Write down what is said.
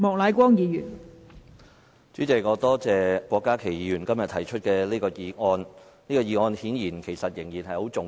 代理主席，我感謝郭家麒議員今天提出此項議題，這顯然仍然非常重要。